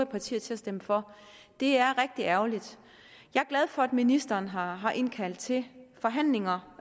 partier til at stemme for det er rigtig ærgerligt jeg er glad for at ministeren har har indkaldt til forhandlinger